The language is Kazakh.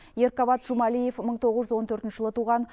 еркават жумалиев мың тоғыз жүз он төртінші жылы туған